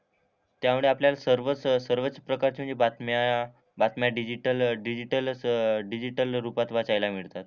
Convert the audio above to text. त्यामुळे आपल्याला सर्वच सर्वच प्रकारचे म्हणजे बातम्या बातम्या डिजिटल डिजिटल असं डिजिटल रूपात वाचायला मिळतात.